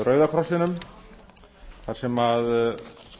rauða krossinum þar sem að